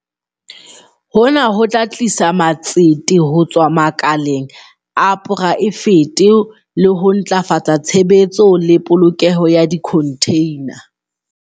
Hona ho tla tlisa matsete ho tswa makaleng a poraefete le ho ntlafatsa tshebetso le polokelo ya dikhontheina.